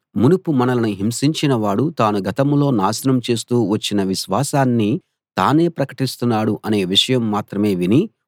మునుపు మనలను హింసించిన వాడు తాను గతంలో నాశనం చేస్తూ వచ్చిన విశ్వాసాన్ని తానే ప్రకటిస్తున్నాడు అనే విషయం మాత్రమే విని